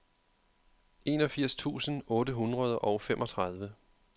enogfirs tusind otte hundrede og femogtredive